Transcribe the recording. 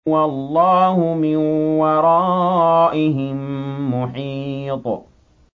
وَاللَّهُ مِن وَرَائِهِم مُّحِيطٌ